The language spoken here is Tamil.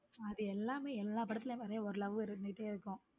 அது எல்லாமே எல்லா படத்திலும் மாறி ஒரு love இருந்துட்டே இருக்கும்.